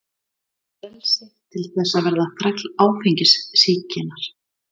Frelsi til þess að verða þræll áfengissýkinnar?